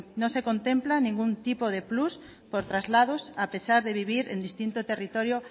no se contempla ningún tipo de plus por traslados a pesar de vivir en distinto territorio